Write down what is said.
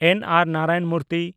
ᱮᱱ.ᱟᱨ.ᱱᱟᱨᱟᱭᱚᱱ ᱢᱩᱨᱛᱤ